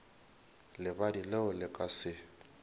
lebadi leo le ka se